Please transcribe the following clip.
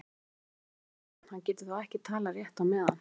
Guði sé lof, hugsaði Örn, hann getur þá ekki talað rétt á meðan.